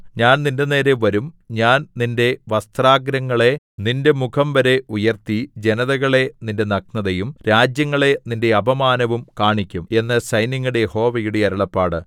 ഞാൻ നിന്റെനേരെ വരും ഞാൻ നിന്റെ വസ്ത്രാഗ്രങ്ങളെ നിന്റെ മുഖംവരെ ഉയർത്തി ജനതകളെ നിന്റെ നഗ്നതയും രാജ്യങ്ങളെ നിന്റെ അപമാനവും കാണിക്കും എന്ന് സൈന്യങ്ങളുടെ യഹോവയുടെ അരുളപ്പാട്